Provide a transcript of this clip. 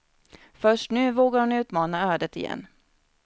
Först nu vågar hon utmana ödet igen.